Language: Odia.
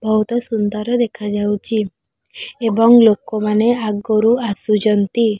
ବହୁତ ସୁନ୍ଦର ଦେଖାଯାଉଚି ଏବଂ ଲୋକମାନେ ଆଗରୁ ଆସୁଚନ୍ତି।